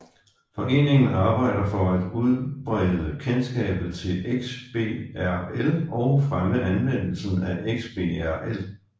Foreningen arbejder for at udbrede kendskabet til XBRL og fremme anvendelsen af XBRL